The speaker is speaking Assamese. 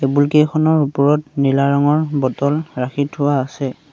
টেবুল কেইখনৰ ওপৰত নীলা ৰঙৰ বটল ৰাখি থোৱা আছে।